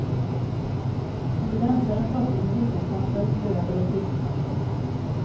När du rensar den torkar du med hushållspapper, löv eller tidningspapper.